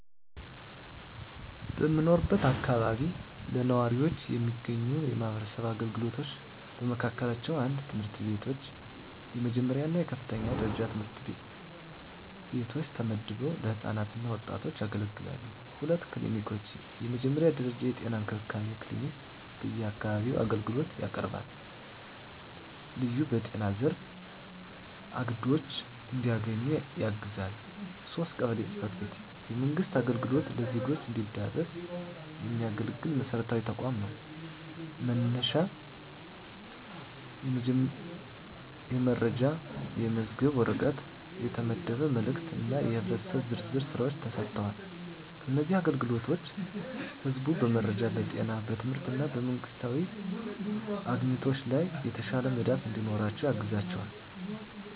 በምኖርበት አካባቢ ለነዋሪዎች የሚገኙ የማህበረሰብ አገልግሎቶች በመካከላቸው፣ 1. ትምህርት ቤቶች፣ የመጀመሪያ እና የከፍተኛ ደረጃ ትምህርት ቤቶች ተመድበው ለህፃናት እና ወጣቶች ያገለግላሉ። 2. ክሊኒኮች፣ የመጀመሪያ ደረጃ የጤና እንክብካቤ ክሊኒክ በአካባቢው አገልግሎት ያቀርባል፣ ልዩ በጤና ዘርፍ አግድዶች እንዲያገኙ ያግዛል። 3. ቀበሌ ጽ/ቤት፣ የመንግሥት አገልግሎት ለዜጎች እንዲደረስ የሚያገለግል መሰረታዊ ተቋም ነው፤ መነሻ የመረጃ፣ የተመዘገበ ወረቀት፣ የተመደበ መልእክት እና የህብረተሰብ ዝርዝር ሥራዎች ተሰጥተዋል። እነዚህ አገልግሎቶች ህዝቡ በመረጃ፣ በጤና፣ በትምህርት እና በመንግስታዊ አግኝቶች ላይ የተሻለ መዳፍ እንዲኖራቸው ያግዛቸዋል።